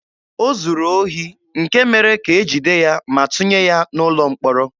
O zuru ohi, nke mere ka e jide ya ma tụnye ya n'ụlọ mkpọrọ.